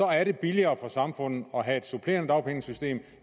er det billigere for samfundet at have et supplerende dagpenge system